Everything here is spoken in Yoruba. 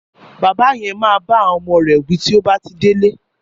Bàbá yen má bá àwọn ọmọ rè wí tí ó bá ti délé.